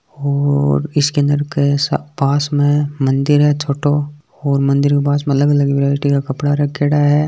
और इसके अंदर के सब पास मे मंदिर है छोटो और मंदिर के पास मे अलग अलग वैरायटी का कपड़ा रखेड़ा है।